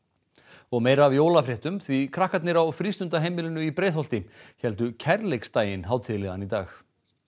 og meira af því krakkarnir á frístundaheimilunum í Breiðholti héldu hátíðlegan í dag